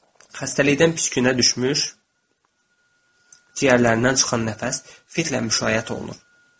Xəstəlikdən pis günə düşmüş ciyərlərindən çıxan nəfəs fitlə müşayiət olunur.